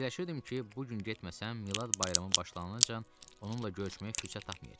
Fikirləşirdim ki, bu gün getməsəm Milad bayramı başlanancan onunla görüşməyə fürsət tapmayacam.